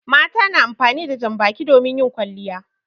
Mata na amfani da jan baki domin yin kwalliya.